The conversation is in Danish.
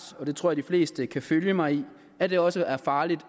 og det tror jeg de fleste kan følge mig i at det også er farligt